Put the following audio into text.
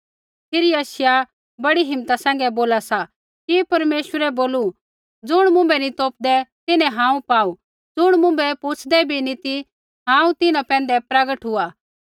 फिरी यशायाह बड़ी हिम्मता सैंघै बोला सा कि परमेश्वरै बोलू ज़ुण मुँभै नी तोपदै तिन्हैं हांऊँ पाऊ ज़ुण मुँभै पुछदे बी नी ती हांऊँ तिन्हां पैंधै प्रगट हुआ